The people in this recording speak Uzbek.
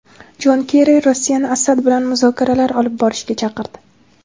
Jon Kerri Rossiyani Asad bilan muzokaralar olib borishga chaqirdi.